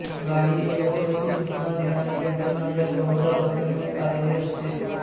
गाडी येत असल्याची सूचना देणारी यंत्रणा यात बहुदा बसविण्यात आलेली असते